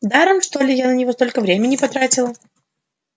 даром что ли я на него столько времени потратила